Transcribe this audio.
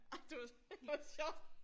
Ej det var simpelthen for sjovt